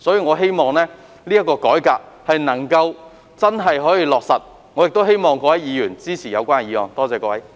我希望政府能夠真正落實改革，亦希望各位議員支持議案。